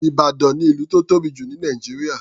Ìbàdàn ni ìlú tó tóbi jù ní Nàìjíríà.